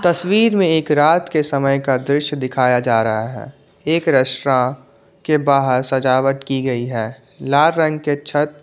तस्वीर में एक रात के समय का दृश्य दिखाया जा रहा है एक रेस्टॉ के बाहर सजावट की गई है लाल रंग के छत--